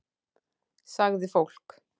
Sagði fólk.